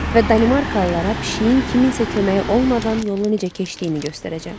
Və Danimarkalılara pişiyin kiminsə köməyi olmadan yolu necə keçdiyini göstərəcəm.